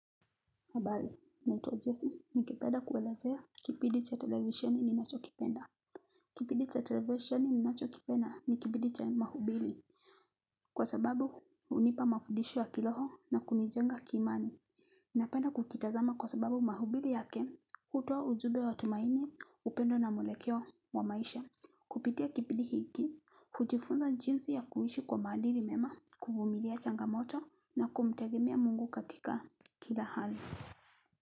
Habari, naitwa Jessi, ningependa kuelezea kipindi cha televisheni ninachokipenda. Kipindi cha televisheni ninachokipenda ni kipindi cha mahubiri. Kwa sababu, hunipa mafudisho ya kiroho na kunijenga kiimani. Napenda kukitazama kwa sababu mahubiri yake, hutoa ujumbe wa tumaini, upendo na mwelekeo wa maisha. Kupitia kipidi hiki, hujifunza jinsi ya kuishi kwa maadili mema, kuvumilia changamoto na kumtegemea Mungu katika kila hali.